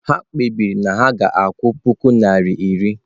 Ha kpebiri na ha ga-akwụ puku naira iri.